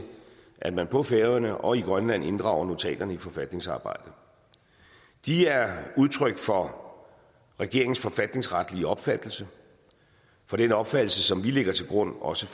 at man på færøerne og i grønland inddrager notaterne i forfatningsarbejdet de er udtryk for regeringens forfatningsretlige opfattelse for den opfattelse som vi lægger til grund også